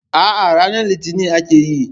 A'a, ranar litinin akayi.